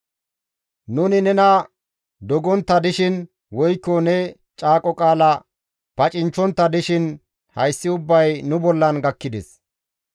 Nuni nena dogontta dishin woykko ne caaqo qaala pacinchchontta dishin hayssi ubbay nu bollan gakkides.